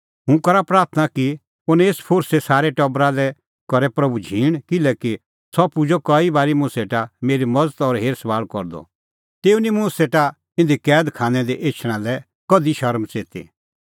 हुंह करा प्राथणां कि ओनेसफोरसे सारै टबरा लै करे प्रभू झींण किल्हैकि सह पुजअ कई बारी मुंह सेटा मेरी मज़त और हेरसभाल़ करदअ तेऊ निं मुंह सेटा इधी कैद खानै दी एछणा लै कधि शरम च़ेती